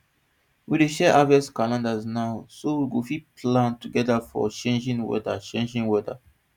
we dey share harvest calendars now so we go fit plan togeda for changing weda changing weda